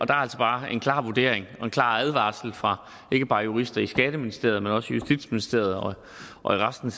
der er altså bare en klar vurdering af og en klar advarsel fra ikke bare jurister i skatteministeriet men også i justitsministeriet og i resten